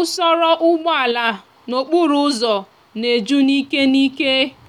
usoro úgbòala n'okporo úzò na eju n'ike n'ike.